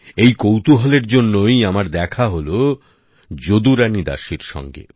এই কৌতুহল এর জন্যই আমার দেখা হলো যদুরানী দাসীর সঙ্গে